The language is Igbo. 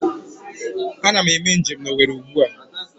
Ana m eme njem na Owerri ugbua